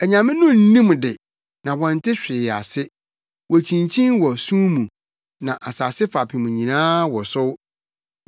“Anyame no nnim de, na wɔnte hwee ase. Wokyinkyin wɔ sum mu; na asase fapem nyinaa wosow.